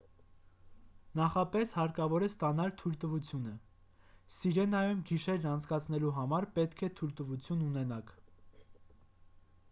նախապես հարկավոր է ստանալ թույլտվությունը սիրենայում գիշերն անցկացնելու համար պետք է թույլտվություն ունենաք